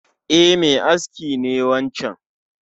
E, mai aski ne wancan